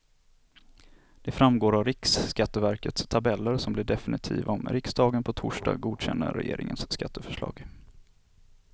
Det framgår av riksskatteverkets tabeller som blir definitiva om riksdagen på torsdag godkänner regeringens skatteförslag.